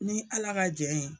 Ni ala ka jɛn ye.